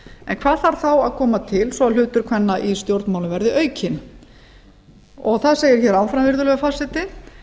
en hvað þarf þá að koma til svo að hlutur kvenna í stjórnmálum verði aukinn það segir hér áfram virðulegi forseti